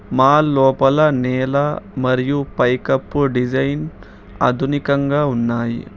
Mall లోపల నేల మరియు పైకప్పు డిజైన్ ఆధునికంగా ఉన్నాయి.